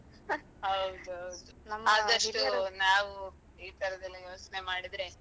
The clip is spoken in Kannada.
ಹೌದು ಆದಷ್ಟು ನಾವು ಈ ತರದೆಲ್ಲ ಯೋಚನೆ ಮಾಡಿದ್ರೆ